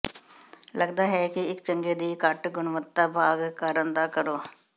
ਲੱਗਦਾ ਹੈ ਕਿ ਇਕ ਚੰਗੇ ਦੀ ਘੱਟ ਗੁਣਵੱਤਾ ਭਾਗ ਕਾਰਨ ਨਾ ਕਰੋ